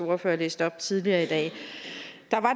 ordfører læste op tidligere i dag